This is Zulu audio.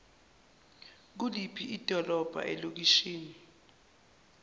kuliphi idolobha ilokishi